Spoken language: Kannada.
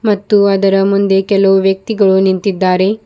ಮತ್ತು ಅದರ ಮುಂದೆ ಕೆಲವು ವ್ಯಕ್ತಿಗಳು ನಿಂತಿದ್ದಾರೆ.